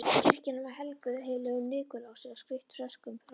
Kirkjan var helguð heilögum Nikulási og skreytt freskum frá